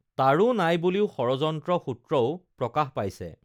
তাৰো নাই বুলিও ষড়ষন্ত্ৰ সূত্ৰও প্ৰকাশ পাইছে